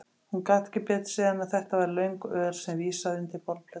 Hún gat ekki betur séð en að þetta væri löng ör sem vísaði undir borðplötuna.